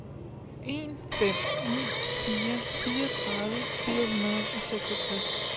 en fem ni fire fireogtredive fire hundrede og seksogtres